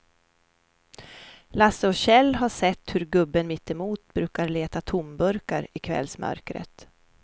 Lasse och Kjell har sett hur gubben mittemot brukar leta tomburkar i kvällsmörkret.